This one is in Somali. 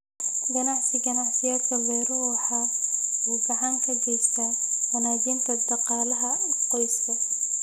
Ganacsi-ganacsiyeedka beeruhu waxa uu gacan ka geystaa wanaajinta dhaqaalaha qoyska.